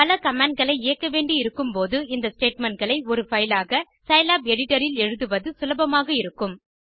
பல கமாண்ட் களை இயக்க வேண்டி இருக்கும் போது இந்த ஸ்டேட்மெண்ட் களை ஒரு பைல் ஆக சிலாப் எடிட்டர் இல் எழுதுவது சுபலபமாக இருக்கும்